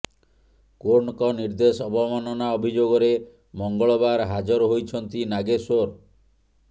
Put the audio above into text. କୋର୍ଟଙ୍କ ନିର୍ଦ୍ଦେଶ ଅବମାନନା ଅଭିଯୋଗରେ ମଙ୍ଗଳବାର ହାଜର ହୋଇଛନ୍ତି ନାଗେଶ୍ବର